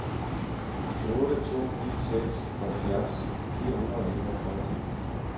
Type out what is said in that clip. otte to ni seks halvfjerds fire hundrede og enogtres